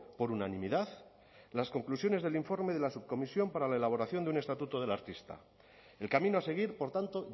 por unanimidad las conclusiones del informe de la subcomisión para la elaboración de un estatuto del artista el camino a seguir por tanto